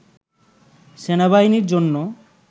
সেনাবাহিনীর জন্য